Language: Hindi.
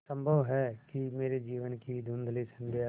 संभव है कि मेरे जीवन की धँुधली संध्या